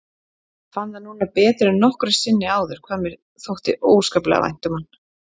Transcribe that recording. Fann það núna betur en nokkru sinni áður hvað mér þótti óskaplega vænt um hann.